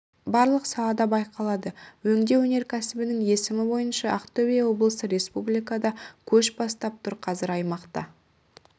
барлық салада байқалады өңдеу өнеркәсібінің өсімі бойынша ақтөбе облысы республикада көш бастап тұр қазір аймақта